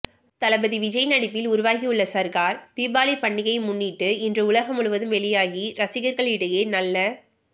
தளபதி விஜய் நடிப்பில் உருவாகியுள்ள சர்கார் தீபாவளி பண்டிகையை முன்னிட்டு இன்று உலகம் முழுவதும் வெளியாகி ரசிகர்களிடையே நல்ல